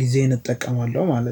ጊዜን እጠቀማለሁ ማለት ነው